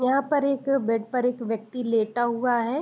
यहां पर एक बेड पर एक व्यक्ति लेटा हुआ है।